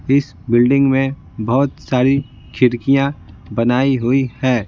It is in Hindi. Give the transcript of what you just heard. इस बिल्डिंग में बहुत सारी खिड़कियां बनाई हुई है।